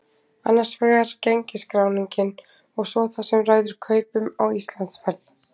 Annars vegar gengisskráningin og svo það sem ræður kaupum á Íslandsferð.